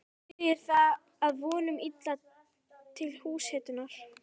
Dugir það að vonum illa til húshitunar.